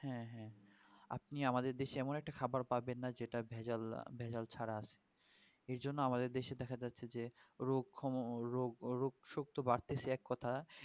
হ্যাঁ হ্যাঁ আপনি আমাদের দেশে এমন একটা খাবার পাবেন না যে যেটা ভেজাল ছাড়া আছে এ জন্য আমাদের দেশে দেখা যাচ্ছে যে রোগ ক্ষম রোগশোকত বাড়তেছে এক কথা